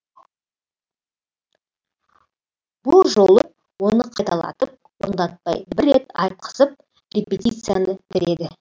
бұл жолы оны қайталатып орындатпай бір рет айтқызып репетицияны бітіреді